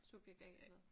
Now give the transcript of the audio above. Subjekt A eller?